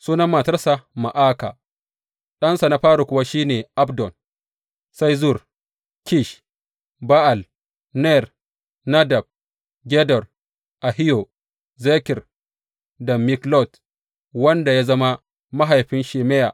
Sunan matarsa Ma’aka, ɗansa na fari kuwa shi ne Abdon, sai Zur, Kish, Ba’al, Ner, Nadab, Gedor, Ahiyo, Zeker da Miklot, wanda ya zama mahaifin Shimeya.